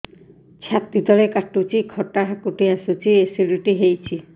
ଛାତି ତଳେ କାଟୁଚି ଖଟା ହାକୁଟି ଆସୁଚି ଏସିଡିଟି ହେଇଚି